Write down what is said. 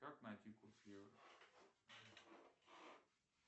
как найти курс евро